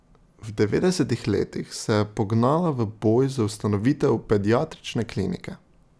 V devetdesetih letih se je pognala v boj za ustanovitev Pediatrične klinike.